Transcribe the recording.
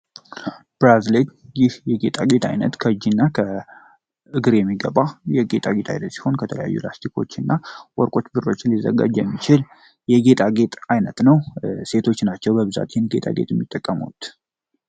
ብራዝሊ ይህ የጌጣጌጥ ዓይነት በእግር የሚገባ ሲሆን ከተለያዩ ላስቲኮች ከብርና ከወርቅ ሊሰራ የሚችል የጌጣጌጥ አይነት ነው ሴቶች ናቸው በብዛት ሊጠቀሙት የሚችሉት።